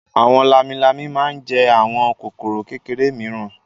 Àwọn lámilámi máa ń jẹ àwọn kòkòrò kékeré mìíràn.